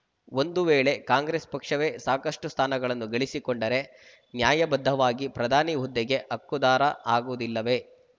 ಒಂದು ವೇಳೆ ಕಾಂಗ್ರೆಸ್‌ ಪಕ್ಷವೇ ಸಾಕಷ್ಟುಸ್ಥಾನಗಳನ್ನು ಗಳಿಸಿಕೊಂಡರೆ ನ್ಯಾಯಬದ್ಧವಾಗಿ ಪ್ರಧಾನಿ ಹುದ್ದೆಗೆ ಹಕ್ಕುದಾರ ಆಗುವುದಿಲ್ಲವೆ